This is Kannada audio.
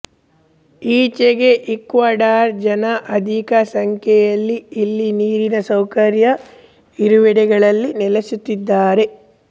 ಈಚೆಗೆ ಈಕ್ವಡಾರ್ ಜನ ಅಧಿಕ ಸಂಖ್ಯೆಯಲ್ಲಿ ಇಲ್ಲಿ ನೀರಿನ ಸೌಕರ್ಯ ಇರುವೆಡೆಗಳಲ್ಲಿ ನೆಲಸುತ್ತಿದ್ದಾರೆ